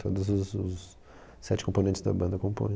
Todos os os sete componentes da banda compõem.